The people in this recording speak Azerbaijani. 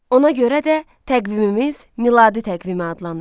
Ona görə də təqvimimiz Miladi təqvimi adlanır.